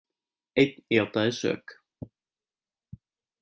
Einn játaði sök